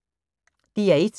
DR1